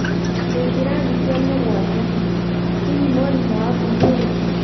ndĩ kĩrathi kĩa mũgwanja, hihi mwarimũ waku nĩurĩkũ?